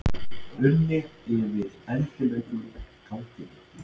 unni yfir endilöngum ganginum.